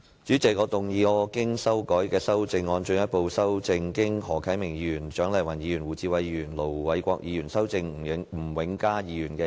主席，我動議我經修改的修正案，進一步修正經何啟明議員、蔣麗芸議員、胡志偉議員及盧偉國議員修正的吳永嘉議員議案。